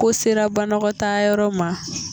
Ko sera banagɔtaa yɔrɔ ma.